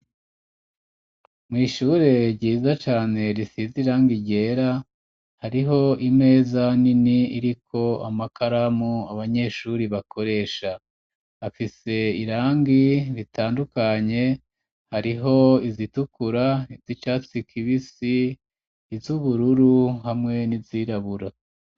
Mu ishure ryiza cane risize irangi ryera hariho imeza nini iriko amakaramu abanyeshure bakoresha, afise irangi ritandukanye hariho izitukura, izisa icatsi kibisi, izubururu hamwe n'izirabura.